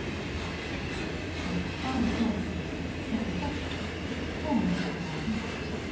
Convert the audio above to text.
Sem starir fram fyrir sig, ekur hratt, komin upp í nær hundrað.